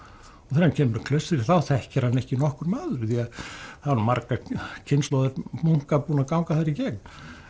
þegar hann kemur í klaustrið þá þekkir hann ekki nokkur maður því það voru margar kynslóðir munka búnar að ganga þar í gegn